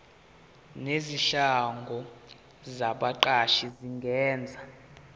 nezinhlangano zabaqashi zingenza